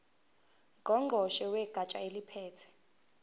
ngqongqoshe wegatsha eliphethe